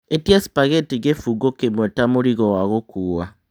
ĩtia spaghetti kĩbungo kĩmwe ta mũrigo wa gũkuua